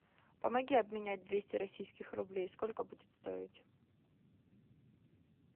помоги обменять двести российских рублей сколько будет стоить